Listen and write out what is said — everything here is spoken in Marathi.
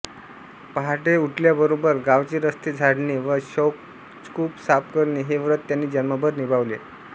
पहाटे उठल्याबरोबर गावचे रस्ते झाडणे व शौचकूप साफ करणे हे व्रत त्यांनी जन्मभर निभावले